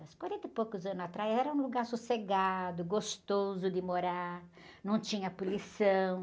Há uns quarenta e poucos anos atrás era um lugar sossegado, gostoso de morar, não tinha poluição.